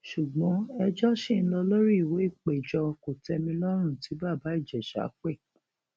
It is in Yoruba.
ṣùgbọn ẹjọ ṣì ń lọ lórí ìwé ìpéjọ kòtẹmilọrùn tí bàbá ìjẹsà pè